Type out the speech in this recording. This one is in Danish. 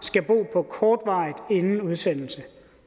skal bo på kortvarigt inden udsendelse